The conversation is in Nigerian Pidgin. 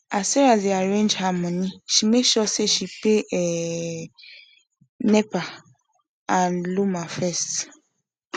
as sarah dey arrange her money she make sure say she pay um nepa and lawma first